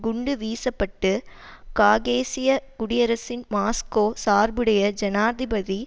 குண்டு வீசப்பட்டு காகேசிய குடியரசின் மாஸ்கோ சார்புடைய ஜனாதிபதி